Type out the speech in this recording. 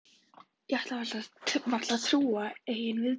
Ég ætlaði varla að trúa eigin viðbrögðum.